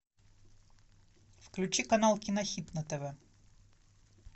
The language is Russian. включи канал кинохит на тв